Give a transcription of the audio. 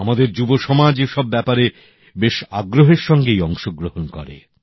আমাদের যুব সমাজ এসব ব্যাপারে বেশ আগ্রহের সঙ্গেই অংশগ্রহণ করে